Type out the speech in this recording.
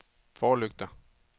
forlygter